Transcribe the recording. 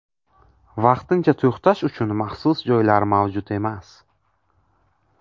Vaqtincha to‘xtash uchun maxsus joylar mavjud emas.